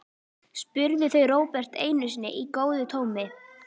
spurðu þau Róbert einu sinni í góðu tómi.